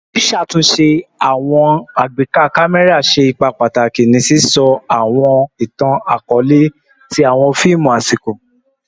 Ṣiṣatunṣe ati awọn agbeka kamẹra ṣe ipa pataki ni sisọ awọn itan-akọọlẹ ti awọn fiimu asiko